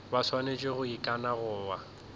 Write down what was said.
ba swanetše go ikana goba